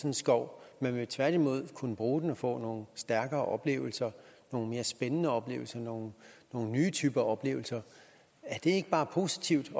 en skov man vil tværtimod kunne bruge den og få stærkere oplevelser nogle mere spændende oplevelser nogle nye typer oplevelser er det ikke bare positivt